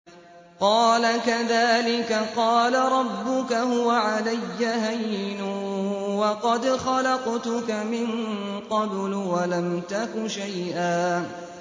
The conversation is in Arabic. قَالَ كَذَٰلِكَ قَالَ رَبُّكَ هُوَ عَلَيَّ هَيِّنٌ وَقَدْ خَلَقْتُكَ مِن قَبْلُ وَلَمْ تَكُ شَيْئًا